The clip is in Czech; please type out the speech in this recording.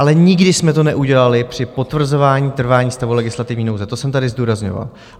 Ale nikdy jsme to neudělali při potvrzování trvání stavu legislativní nouze, to jsem tady zdůrazňoval.